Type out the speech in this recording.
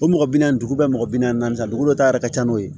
O mɔgɔ bi naani dugu bɛɛ mɔgɔ bi naani ta dugu dɔ ta yɛrɛ ka ca n'o ye